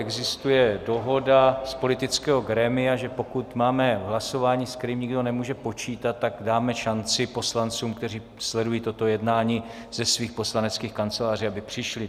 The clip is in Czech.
Existuje dohoda z politického grémia, že pokud máme hlasování, se kterým nikdo nemůže počítat, tak dáme šanci poslancům, kteří sledují toto jednání ze svých poslaneckých kanceláří, aby přišli.